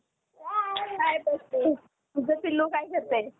Exchange हे संपूर्ण अशियातील एक जुने Stock exchange आहे. भारताचे हे पहिले सरकार मान्य Exchange होय.